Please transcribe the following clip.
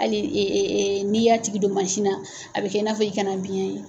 Hali n'i y'a tigi don mansin na, a bɛ kɛ i n'a fɔ i kana biyɛn ye.